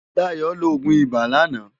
Dayo ló ógún ibá làná